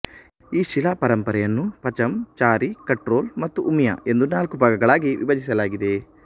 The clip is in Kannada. ಈ ಶಿಲಾಪರಂಪರೆಯನ್ನು ಪಚಂ ಚಾರಿ ಕಟ್ರೋಲ್ ಮತ್ತು ಉಮಿಯ ಎಂದು ನಾಲ್ಕು ಭಾಗಗಳಾಗಿ ವಿಭಜಿಸಲಾಗಿದೆ